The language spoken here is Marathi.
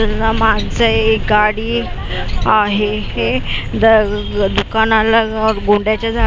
माणसं आहे गाडी आहे हे दुकानाला गोंड्याच्या झाडांची फुलं--